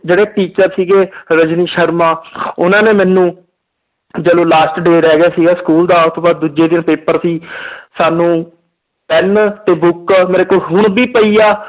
ਜਿਹੜੇ teacher ਸੀਗੇ ਰਜਨੀ ਸ਼ਰਮਾ ਉਹਨਾਂ ਨੇ ਮੈਨੂੰ ਜਦੋਂ last day ਰਹਿ ਗਿਆ ਸੀਗਾ school ਦਾ ਉਹ ਤੋਂ ਬਾਅਦ ਦੂਜੇ ਦਿਨ paper ਸੀ ਸਾਨੂੰ ਪੈਨ ਤੇ book ਮੇਰੇ ਕੋਲ ਹੁਣ ਵੀ ਪਈ ਆ